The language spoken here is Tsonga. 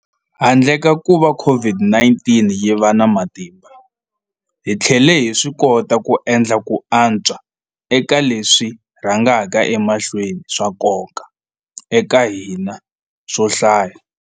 Handle ka kuva COVID-19 yi va na matimba, hi tlhele hi swikota ku endla ku antswa eka leswi swi rhangaka emahlweni swa nkoka eka hina swo hlaya.